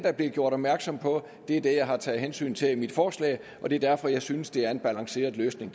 er blevet gjort opmærksom på er det jeg har taget hensyn til i mit forslag og det er derfor jeg synes det er afbalanceret løsning